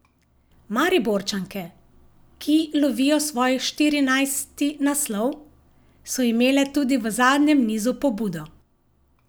Mariborčanke, ki lovijo svoj štirinajsti naslov, so imele tudi v zadnjem nizu pobudo.